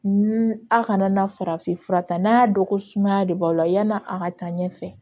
A kana na farafin fura ta n'a y'a dɔn ko sumaya de b'aw la yan'a ka taa ɲɛfɛ